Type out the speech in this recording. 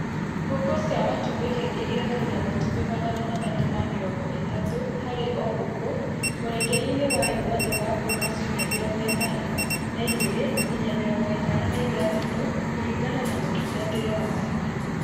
Ngũkũ cia matumbĩ kaingĩ irekagia matumbĩ magana matatũ ma mĩrongo ĩtatũ harĩ o ngũkũ mũrekerie-inĩ wayo wothe wa kuma ciumia mĩrongo ĩtano na igĩrĩ nginya mĩrongo ĩtano na ithatatũ kũringana na mũtungatĩre wacio.